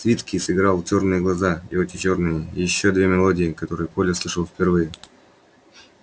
свицкий сыграл чёрные глаза и очи чёрные и ещё две мелодии которые коля слышал впервые